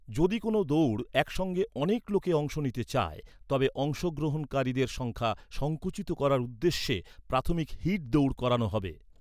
যদি কোনও দৌড়ে একসঙ্গে অনেক লোকে অংশ নিতে চায়, তবে অংশগ্রহণকারীদের সংখ্যা সংকুচিত করার উদ্দেশ্যে প্রাথমিক হিট দৌড় করানো হবে।